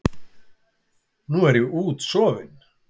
Nú er ég útsofin.